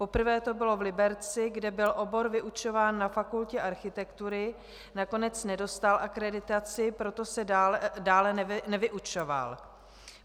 Poprvé to bylo v Liberci, kde byl obor vyučován na Fakultě architektury, nakonec nedostal akreditaci, proto se dále nevyučoval.